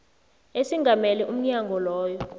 esingamele umnyango loyo